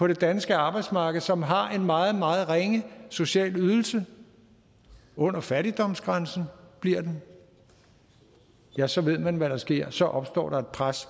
det danske arbejdsmarked som har en meget meget ringe social ydelse under fattigdomsgrænsen bliver den ja så ved man hvad der sker så opstår der et pres